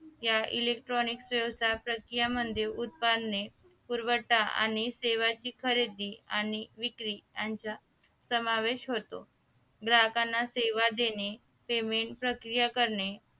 या electronic save चा प्रक्रियांमध्ये उत्पादने पुरवठा आणि सेवाची खरेदी आणि विक्री यांचा समावेश होतो ग्राहकांना सेवा देणे saving प्रक्रिया करणे